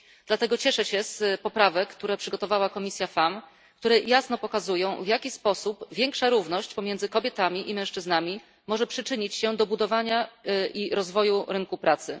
Dlatego cieszę się z poprawek, które przygotowała Komisja FEMM, które jasno pokazują, w jaki sposób większa równość pomiędzy kobietami i mężczyznami może przyczynić się do budowania i rozwoju rynku pracy.